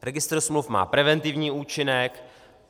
Registr smluv má preventivní účinek.